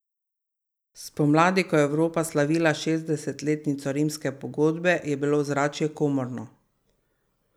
Spomladi, ko je Evropa slavila šestdesetletnico rimske pogodbe, je bilo ozračje komorno.